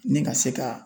Ni ka se ka